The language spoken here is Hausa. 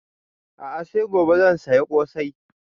A'a sai gobe zan saya ƙosai